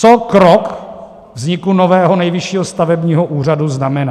Co krok vzniku nového Nejvyššího stavebního úřadu znamená?